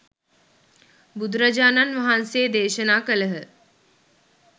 බුදුරාජාණන් වහන්සේ දේශනා කළහ.